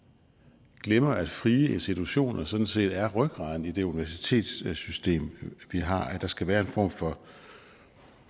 glemmer at frie institutioner sådan set er rygraden i det universitetssystem vi har at der skal være en form for